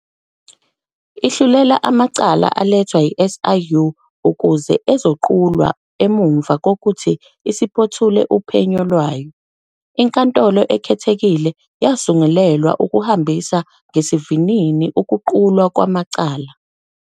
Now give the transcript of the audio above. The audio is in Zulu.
Ihlulela amacala alethwa i-SIU ukuze ezoqulwa emuva kokuthi isiphothule uphenyo lwayo. INkantolo Ekhethekile yasungulelwa ukuhambisa ngesivinini ukuqulwa kwamacala.